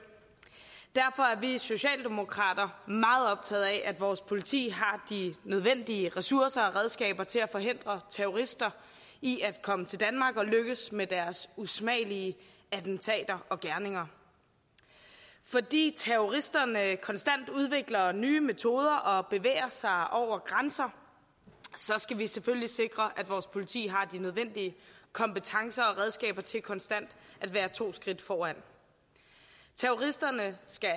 derfor er vi socialdemokrater meget optaget af at vores politi har de nødvendige ressourcer og redskaber til at forhindre terrorister i at komme til danmark og lykkes med deres usmagelige attentater og gerninger fordi terroristerne konstant udvikler nye metoder og bevæger sig over grænser skal vi selvfølgelig sikre at vores politi har de nødvendige kompetencer og redskaber til konstant at være to skridt foran terroristerne skal